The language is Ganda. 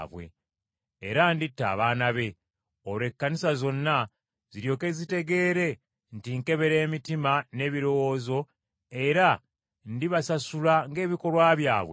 Era nditta abaana be. Olwo Ekkanisa zonna ziryoke zitegeere nti nkebera emitima n’ebirowoozo era ndibasasula ng’ebikolwa byabwe bwe biri.